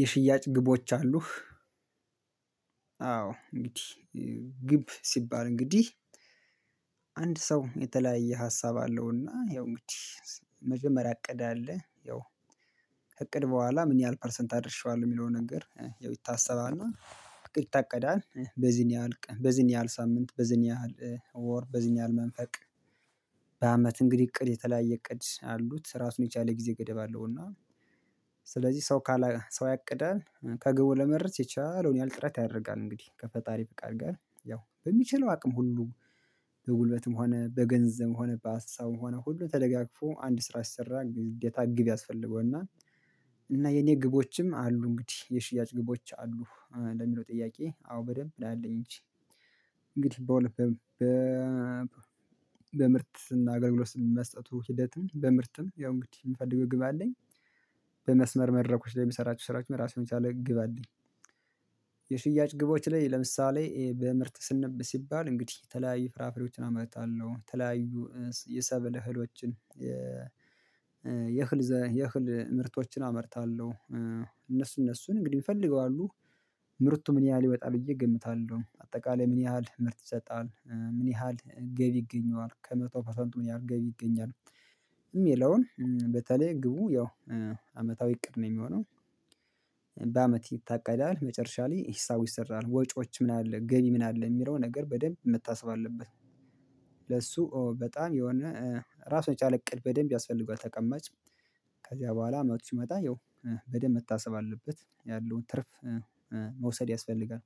የሽያጭ ግቦች አሉህ? አዎ እንግዲህ ግብ ሲባል እንግዲህ አንድ ሰው የተለያየ ሀሳብ አለውና ያው እንግዲህ መጀመሪያ አቀዳ አለ ያው እቅድ በኋላ ምን ያህል ፐርሰንት አድርሼዋለሁ የሚለውን ነገር ይታሰባልና። ይታቀዳል በዚህን ያህል በዚህን ያህል ሳምንት በዚህን ያህል ወር በዚህን ያህል መንፈቅ። በአመት እንግዲህ እቅድ የተለያየ እቅድ አሉት ስራውን የቻለ ጊዜ ገደብ አለው። እና ስለዚህ ሰው ካለ ሰው ያቅዳል ከግብ ለመድረስ የቻለውን ያህል ጥረት ያደርጋል። እንግዲህ ከፈጣሪ በቃ አድርጋ ያው በሚችለው አቅም ሁሉ በጉልበትም ሆነ በገንዘብም ሆነ በሀሳብም ሆነ ሁሉ ተደጋግፎ አንድ ስራ ሰራ እንዴት አግብ ያስፈልገውና። እና የኔ ግቦችም አሉ እንግዲህ የሽያጭ ግቦች አሉ ለሚለው ጥያቄ አዎ በደንብ እንደምል እንጂ እንግዲህ በምርጥ በምርት እና አገር ብሎ ስንመስጠቱ ሂደትም በምርትም ያው እንግዲህ የምፈልገው ግብ አለኝ። በመስመር መድረኮች ላይ የምሰራቸው ስራዎች መራሱን የሚቻለው ግብ አለኝ። የሽያጭ ግቦች ላይ ለምሳሌ በምርት ስንብ ሲባል እንግዲህ የተለያዩ ፍራፍሬዎችን አመርታለሁ የተለያዩ የሰበለ እህሎችን የእህል ምርቶችን አመርታለሁ። እነሱ እነሱን እንግዲህ ይፈልገዋሉ ምርቱ ምን ያህል ይወጣል ብዬ እገምታለሁ አጠቃላይ ምን ያህል ምርት ይሰጣል ምን ያህል ገቢ ይገኘዋል ከመቶ ፐርሰንቱን ያህል ገቢ ይገኛል። የሚለውን በተለይ ግቡ ያው አመታዊ እቅድ ነው የሚሆነው። በአመት ይታቀዳል መጨረሻ ላይ ሂሳቡ ይሰራል ወጪዎች ምን አለ ገቢ ምን አለ የሚለው ነገር በደንብ መታሰብ አለበት። ለሱ በጣም የሆነ ራስ ወጪ አለቅድ በደንብ ያስፈልገዋል ተቀማጭ ከዚያ በኋላ አመቱ ሲመጣ ያው በደንብ መታሰብ አለበት ያለውን ትርፍ መውሰድ ያስፈልጋል።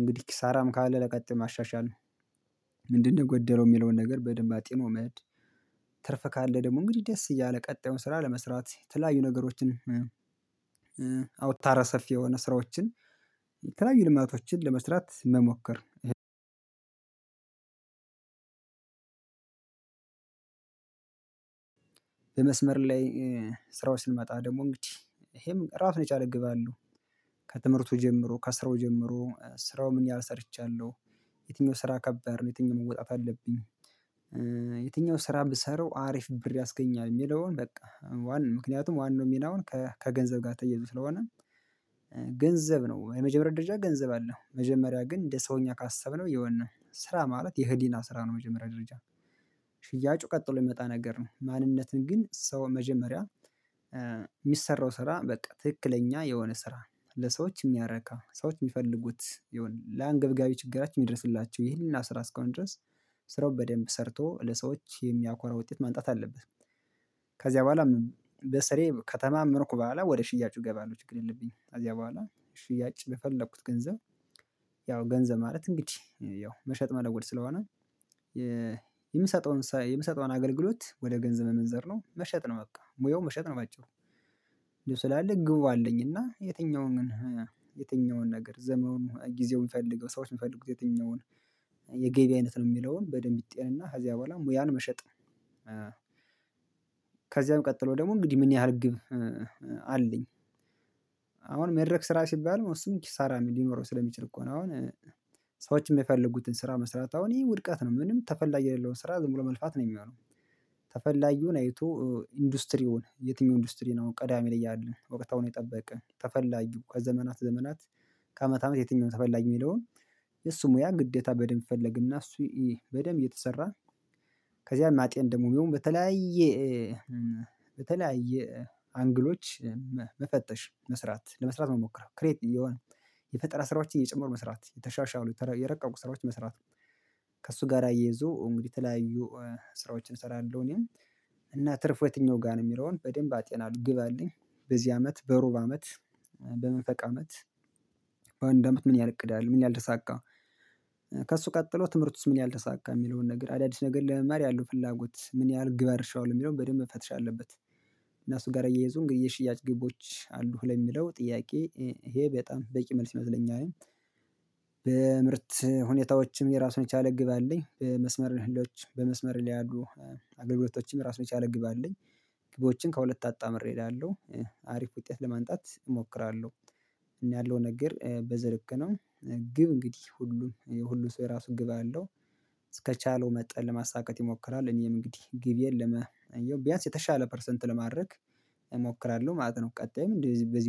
እንግዲህ ኪሳራም ካለ ለቀጥታ ማሻሻል ነው። ምንድነው ጎደለው የሚለውን ነገር በደንብ አጥኖ መድ ትርፍ ካለ ደግሞ እንግዲህ ደስ እያለ ቀጣዩን ስራ ለመስራት ተለያዩ ነገሮችን። አውታረ ሰፊ የሆነ ስራዎችን ተለያዩ ልማቶችን ለመስራት መሞከር። የመስመር ላይ ስራው ስንመጣ ደግሞ እንግዲህ ይሄም ራሱን የቻል ገብ አለው። ከትምህርቱ ጀምሮ ከስራው ጀምሮ ስራው ምን ያህል ሰርቻለሁ የትኛው ስራ ከባድ ነው የትኛው መወጣት አለብኝ? የትኛው ስራ ብሰራው አሪፍ ብር ያስገኛል የሚለውን በቃ ዋናው ምክንያቱም ዋናው ሚናውን ከገንዘብ ጋር ትያዙ ስለሆነ ገንዘብ ነው የመጀመሪያ ደረጃ ገንዘብ አለው መጀመሪያ ግን እንደ ሰውኛ ካሰብነው የሆነ ነው ስራ ማለት የህዲና ስራ ነው። የመጀመሪያ ድርጅት ሽያጩ ቀጥሎ የሚመጣ ነገር ነው። ማንነትን ግን ሰው መጀመሪያ የሚሰራው ስራ በቃ ትክክለኛ የሆነ ስራ ለሰዎች የሚያረካ ሰዎች የሚፈልጉት የሆነ ለአንገብጋቢ ችግራችን የሚደርስላቸው ይህንን ስራ እስካሁን ድረስ ስራው ሰርቶ ለሰዎች የሚያኮራ ውጤት ማንጣት አለበት። ከዚያ በኋላ በስሬ ከተማመንኩ በኋላ ወደ ሽያጩ እገባለሁ ችግር የለብኝም። ከዚያ በኋላ ሽያጭ በፈለኩት ገንዘብ ያው ገንዘብ ማለት እንግዲህ ያው መሸጥ መለወጥ ስለሆነ የምሰጠውን የምሰጠውን አገልግሎት ወደ ገንዘብ መመዘር ነው መሸጥ ነው በቃ ሙያው መሸጥ ነው በአጭሩ። እንደው ስላለ ግቡ አለኝ እና የትኛውን ግን ነገር ዘመውን ጊዜውን የምፈልገው ሰዎች የምፈልጉት የትኛውን አይነት ነው የሚለውን በደንብ ይጤንና ከዚያ በኋላ ሙያን መሸጥ። ከዚያም ቀጥሎ ደግሞ እንግዲህ ምን ያህል ግብ አለኝ። አሁን መድረክ ስራ ሲባል መስመር ሳራ ምን ሊኖረው ስለሚችል እኮ ነው አሁን ሰዎች የሚፈልጉትን ስራ መስራት አሁን ይሄ ውድቃት ነው። ምንም ተፈላጊ የሌለውን ስራ ደግሞ ለመልፋት ነው የሚሆነው። ተፈላጊውን አይቶ ኢንዱስትሪውን የትኛው ኢንዱስትሪ ነው ቀዳሚ ላይ ያለን እውቀት አሁን የጠበቀ ተፈላጊው ከዘመናት ዘመናት ከአመት አመት የትኛውም ተፈላጊ የሚለውን የሱ ሙያ ግዴታ በደንብ ፈለግና እሱ በደንብ እየተሰራ ከዚያም አጤን ደግሞ ቢሆን በተለያየ አንግሎች መፈተሽ መስራት ለመስራት መሞከር የፈጠራ ስራዎች እየጨመሩ መስራት የተሻሻሉ የረቀቁ ስራዎች መስራት ነው። ከእሱ ጋር አየዞ እንግዲህ የተለያዩ ስራዎችን እንሰራለን እኔም እና ትርፍ የትኛው ጋር ነው የሚለውን በደንብ አቴና ግብ አለኝ። በዚህ አመት በሩብ አመት በመፈዓመት በአንድ አመት ምን ያህል እቅድ አለ ምን ያህል ደሳቃ ከእሱ ቀጥሎ ትምህርት ውስጥ ምን ያህል ተሳካ የሚለውን ነገር አዳዲስ ነገር ለመማር ያለው ፍላጎት ምን ያህል ግብር ሸዋል የሚለውን በደንብ ፈትሻ አለበት። እና እሱ ጋር እየይዙ እንግዲህ የሽያጭ ግቦች አሉ ለሚለው ጥያቄ ይሄ በጣም በቂ መልስ ይመስለኛል። በምርት ሁኔታዎችም የራሱን የቻለ ግብ አለኝ በመስመር ህልዎች በመስመር ላይ ያሉ አገልግሎቶችም ራስ የቻለ ግብ አለኝ። ግቦችን ከሁለት አጣመር እሄዳለሁ አሪፍ ውጤት ለማንጣት እሞክራለሁ። እና ያለው ነገር በዚልክ ነው ግብ እንግዲህ ሁሉም የሁሉም ሰው የራሱን ግብ አለው። እስከቻለው መጠን ለማሳካት ይሞክራል እኔም እንግዲህ ግብ የለም አየው ቢያንስ የተሻለ ፐርሰንት ለማድረግ እሞክራለሁ ማለት ነው። ቀጣይም እንደዚህ በዚህ